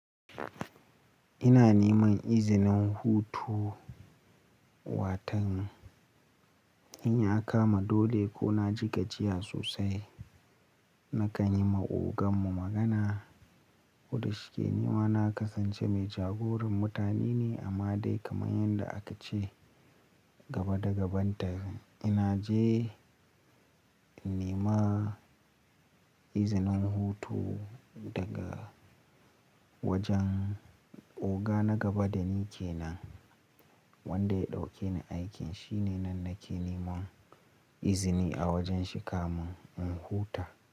Ina neman izinin hutu watan. In ya kama dole ko na ji gajiya sosai, nakan yi ma ogan mu magana. Kuda shike nima na kasance mai jagoran mutane ne amma dai kamar yadda aka ce gaba da gaban ta, ina je nema izinin hutu daga wajen oga na gaba da ni kenan wanda ya ɗauke ni aikin. Shi ne nan nake nema izini a wajen shi kamin in huta.